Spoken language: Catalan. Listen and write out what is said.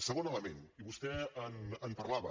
segon element i vostè en parlava